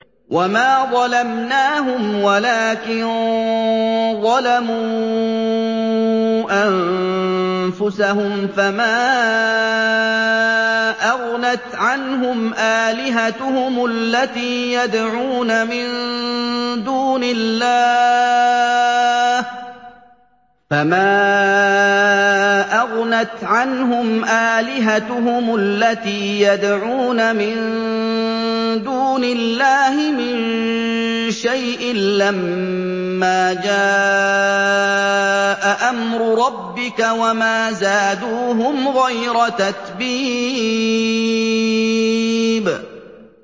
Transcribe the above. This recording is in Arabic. وَمَا ظَلَمْنَاهُمْ وَلَٰكِن ظَلَمُوا أَنفُسَهُمْ ۖ فَمَا أَغْنَتْ عَنْهُمْ آلِهَتُهُمُ الَّتِي يَدْعُونَ مِن دُونِ اللَّهِ مِن شَيْءٍ لَّمَّا جَاءَ أَمْرُ رَبِّكَ ۖ وَمَا زَادُوهُمْ غَيْرَ تَتْبِيبٍ